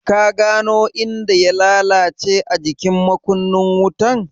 Ka gano inda ya lalace a jikin makunnin wutan?